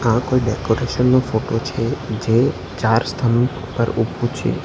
આ કોઈ ડેકોરેશન નો ફોટો છે જે ચાર સ્તંભ ઉપર ઉભૂં છે.